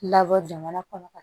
Labɔ jamana kɔnɔ ka